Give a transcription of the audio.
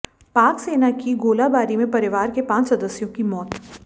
पाक सेना की गोलाबारी में परिवार के पांच सदस्यों की मौत